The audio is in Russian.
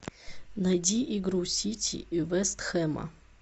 найди игру сити и вест хэма